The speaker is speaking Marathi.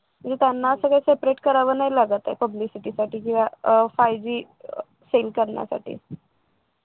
आणि त्यांना असं काही separate करावं नाही लागत आहे publicity साठी केव्हा अह five Gsend करण्यासाठी